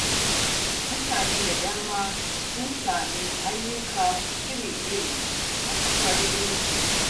Mutane da dama sun samu ayyuka iri-iri a kafar LinkedIn.